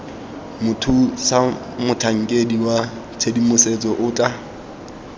mothusamotlhankedi wa tshedimosetso o tla